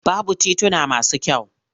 Babu tituna masu kyau.